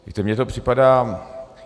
Víte, mně to připadá...